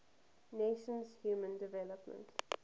nations human development